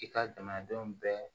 I ka jamanadenw bɛɛ